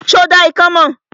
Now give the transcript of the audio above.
Ṣé o dá ikán mọ̀?